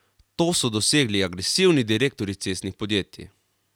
To so dosegli agresivni direktorji cestnih podjetij.